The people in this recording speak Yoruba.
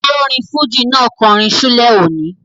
Olórin fújì náà kọrin ṣúlẹ̀ òní